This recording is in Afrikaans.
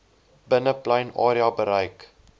binneplein area bereik